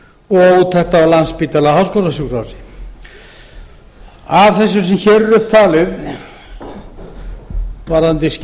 og úttekt á landspítala háskólasjúkrahúsi af þessu sem hér er upp talið varðandi